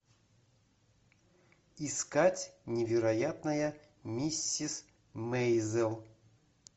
искать невероятная миссис мейзел